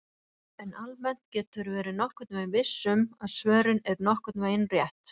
En almennt geturðu verið nokkurn veginn viss um að svörin eru nokkurn veginn rétt!